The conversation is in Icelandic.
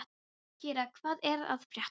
Kira, hvað er að frétta?